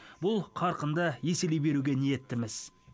бұл қарқынды еселей беруге ниеттіміз